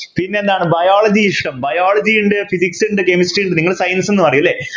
പിന്നെന്താണ് Biology ഇഷ്ടം Biology ഉണ്ട് Physics ഉണ്ട് Chemistry ഉണ്ട് നിങ്ങള് Science എന്ന് പറയും അല്ലെ